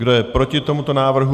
Kdo je proti tomuto návrhu?